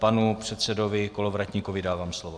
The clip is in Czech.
Panu předsedovi Kolovratníkovi dávám slovo.